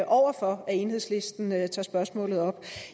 over for at enhedslisten tager spørgsmålet op